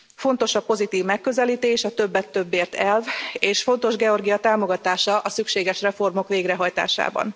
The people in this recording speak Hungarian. Fontos a pozitív megközelítés, a többet többért elv, és fontos Georgia támogatása a szükséges reformok végrehajtásában.